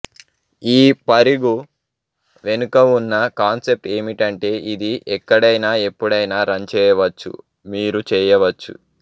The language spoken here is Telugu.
ఈ పరిగు వెనుక ఉన్న కాన్సెప్ట్ ఏమిటంటే ఇది ఎక్కడైనా ఎప్పుడైనా రన్ చేయవచ్చు మీరు చేయవచ్చు